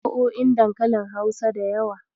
Akwai nau'o'in dankalin Hausa da yawa.